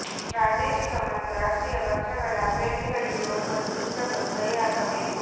ಪ್ರಾದೇಶಿಕ ಮತ್ತು ರಾಷ್ಟ್ರೀಯ ಪಕ್ಷಗಳ ಅಭ್ಯರ್ಥಿಗಳಿಗೆ ಒಬ್ಬರು ಸೂಚಕರು ಸಹಿ ಹಾಕಬೇಕು